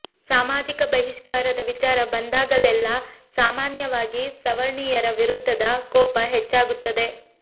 ಸಾಮಾಜಿಕ ಬಹಿಷ್ಕಾರದ ವಿಚಾರ ಬಂದಾಗಲೆಲ್ಲಾ ಸಾಮಾನ್ಯವಾಗಿ ಸವರ್ಣೀಯರ ವಿರುದ್ಧದ ಕೋಪ ಹೆಚ್ಚಾಗುತ್ತದೆ